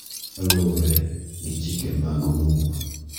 Kaluwore gi chike mag muma,